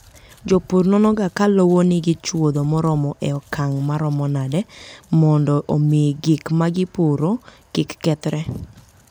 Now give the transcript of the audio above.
Jopur nonoga ka lowo nigi chuodho moromo e okang' maromo nade, mondo omi gik ma gipuro kik kethre.